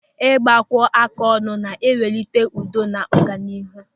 Ịgbakọáká ọnụ na-akwalite udo na ọganihu.